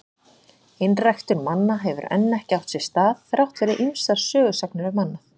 Einræktun manna hefur enn ekki átt sér stað, þrátt fyrir ýmsar sögusagnir um annað.